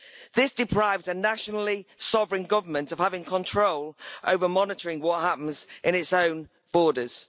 This deprives a nationally sovereign government of having control over monitoring what happens in its own borders.